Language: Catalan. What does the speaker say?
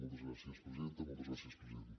moltes gràcies presidenta moltes gràcies president